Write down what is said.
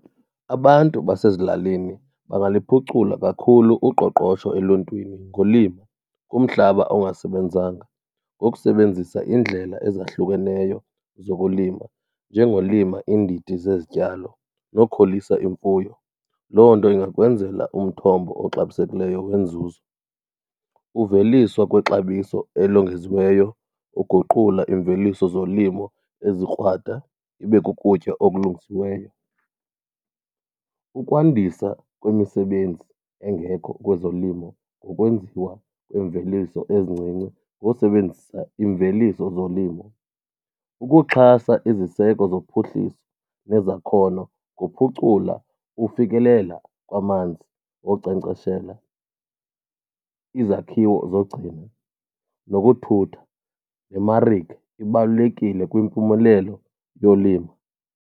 Abantu basezilalini bangaliphucula kakhulu uqoqosho eluntwini ngolimo kumhlaba ongasebenzanga ngokusebenzisa iindlela ezahlukeneyo zokulima njengolima iindidi zezityalo nokhulisa imfuyo. Loo nto ingakwenzela umthombo oxabisekileyo wenzuzo. Uveliswa kwexabiso elongeziweyo, uguqula iimveliso zolimo ezikrwada ibe kukutya okulungisiweyo. Ukwandisa kwemisebenzi engekho kwezolimo ngokwenziwa kwemveliso ezincinci ngokusebenzisa iimveliso zolimo. Ukuxhasa iziseko zophuhliso nezakhono kuphucula ufikelela kwamanzi wonkcenkceshela, izakhiwo zogcino nokuthutha, nemarike ibalulekile kwimpumelelo yolima.